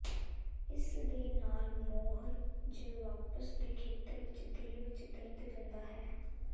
ਇਸ ਦੇ ਨਾਲ ਮੌਰ ਜ ਵਾਪਸ ਦੇ ਖੇਤਰ ਵਿੱਚ ਦਿਲ ਵਿੱਚ ਦਰਦ ਦਿੰਦਾ ਹੈ